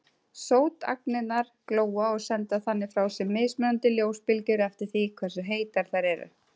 Sótagnirnar glóa og senda þannig frá sér mismunandi ljósbylgjur eftir því hversu heitar þær eru.